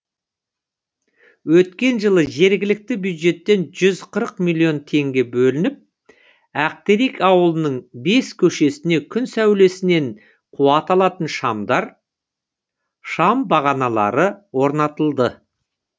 өткен жылы жергілікті бюджеттен жүз қырық миллион теңге бөлініп ақтерек ауылының бес көшесіне күн сәулесінен қуат алатын шамдар шам бағаналары орнатылды